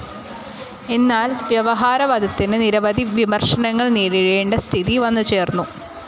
എന്നാൽ വ്യവഹാരവാദത്തിനു നിരവധി വിമർശനങ്ങൾ നേരിടേണ്ട സ്ഥിതി വന്നുചേർന്നു.